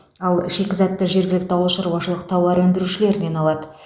ал шикізатты жергілікті ауылшаруашылық тауар өндірушілерінен алады